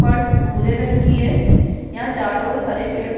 फर्स भूरे रंग की है यहाँ चारों ओर हरे पेड़-पौ --